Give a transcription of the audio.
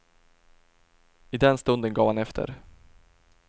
I den stunden gav han efter.